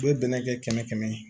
U bɛ bɛnɛ kɛ kɛmɛ kɛmɛ ye